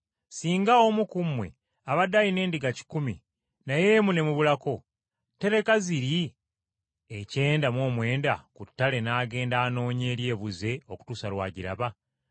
“Singa omu ku mmwe abadde alina endiga kikumi, naye emu n’emubulako, taleka ziri ekyenda mu omwenda ku ttale n’agenda anoonya eri ebuze okutuusa Lw’agiraba?